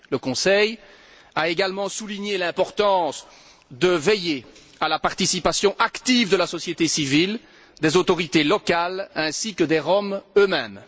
Le Conseil a également souligné l'importance de veiller à la participation active de la société civile, des autorités locales ainsi que des Roms eux mêmes.